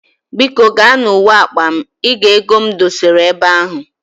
Biko gaa na uwe akwa m, i ga ego m dosara ebe ahu